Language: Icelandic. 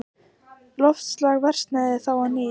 Loftslag versnaði þá á ný.